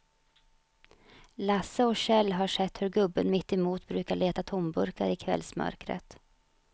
Lasse och Kjell har sett hur gubben mittemot brukar leta tomburkar i kvällsmörkret.